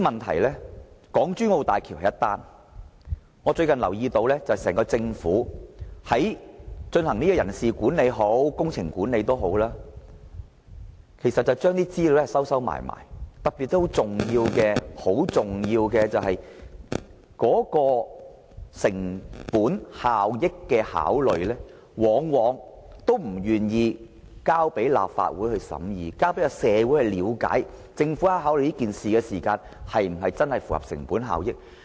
除了港珠澳大橋外，我最近留意到整個政府無論在人事或工程管理方面，都不願把有關資料公開，特別是一些涉及成本效益考慮的重要資料，政府往往不願意提交讓立法會審議和社會人士了解，看看政府有否考慮有關項目的成本效益。